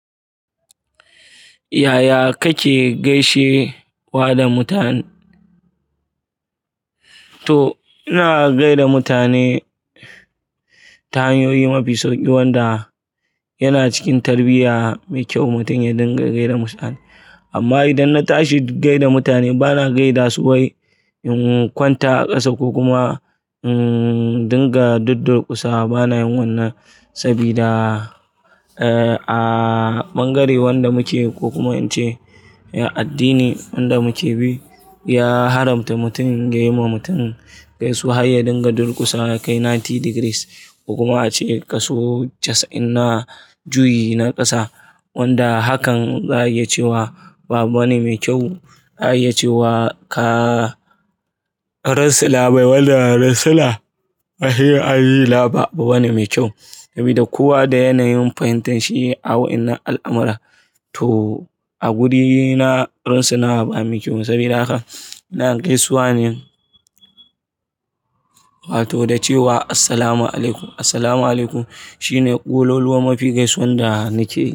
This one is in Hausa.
Yaya kake gaishe wa da mutane? To, ina gaida mutane, ta hanyoyi mafi sauki wanda yana cikin tarbiyya mai kyau mutum ya dinga gaida mutane. Amma idan na tashi in gaida mutane, bana gaida su wai in kwanta a ƙasa ko kuma, umm, dinga duddur kusawa. Bana yin wannan sabida, eh, a bangare wanda muke ko kuma in ce addini wanda muke bi, ya haramta mutum ya yi wa mutum gaisuwar haye dinga durƙusa kai digiri casa'in ko kuma a ce kaso casa'in na juyi na ƙasa. Wanda hakan za a iya cewa ba wani mai kyau, za a iya cewa ka rasa labarai, wanda rasa labarai a yi laba ba wani mai kyau. Sabida kowa da yanayin fahimtan shi a wa'inan al'amara. To, a guri na rantsuwa ba mai kyau sabida haka ina gaisawanin, wato da cewa "Assalamu'alaikum". "Assalamu'alaikum" shine ƙololuwa mafi gaisuwan da nake yi.